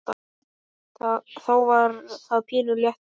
Þá var það pínu léttir.